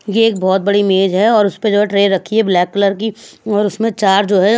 ये एक बहुत बड़ी मेज है और उस पे जो है ट्रे रखी है ब्लैक कलर की और उसमें चार जो है--